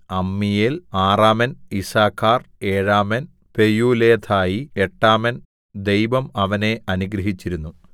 Ammiel ആറാമൻ Issachar ഏഴാമൻ Peullethai എട്ടാമൻ ദൈവം അവനെ അനുഗ്രഹിച്ചിരുന്നു